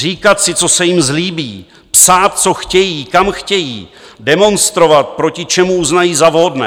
Říkat si, co se jim zlíbí, psát, co chtějí, kam chtějí, demonstrovat, proti čemu uznají za vhodné.